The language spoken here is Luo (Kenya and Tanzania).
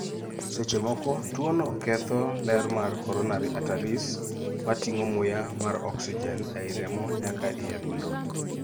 seche moko tuo no ketho ler mar coronary arteries( mating'o muya mar oxygen ei remo nyaka ei adundo